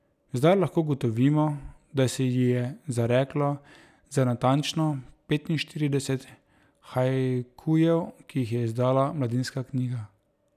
Zdaj lahko ugotovimo, da se ji je zareklo za natančno petinštirideset haikujev, ki jih je izdala Mladinska knjiga.